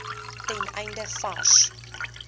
ten einde vars